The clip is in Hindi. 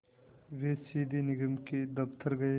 वे सीधे निगम के दफ़्तर गए